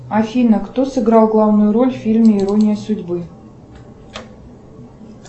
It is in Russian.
афина кто сыграл главную роль в фильме ирония судьбы